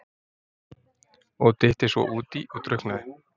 Og dytti svo útí og drukknaði!